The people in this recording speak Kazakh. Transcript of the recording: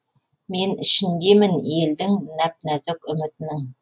мен ішіндемін елдің нәп нәзік үмітінің